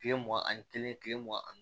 Kile mugan ani kelen mugan ani